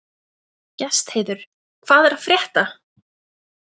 Gestheiður, hvað er að frétta?